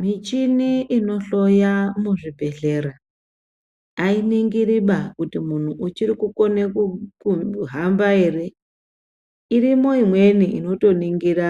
Muchini inohloya muzvibhehlera ayiningiriba kuti muntu uchiri kukona kuhamba ere, irimo imweni inotoningira